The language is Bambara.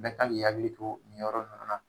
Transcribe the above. Bɛɛ kan ŋ'i hakili to nin yɔrɔ nunnu na.